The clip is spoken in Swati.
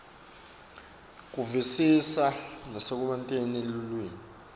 kuvisisa nekusebentisa lulwimi